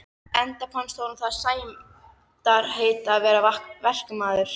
Enda fannst honum það sæmdarheiti að vera verkamaður.